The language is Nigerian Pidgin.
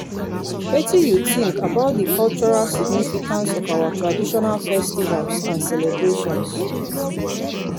wetin you think about di cultural significance of our traditional festivals and celebrations.